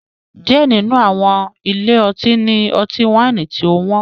Diẹ ninu awọn ile-ọti ni ọti-waini tí ọ wọn